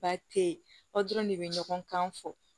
Ba te yen aw dɔrɔn de be ɲɔgɔn kan fɔ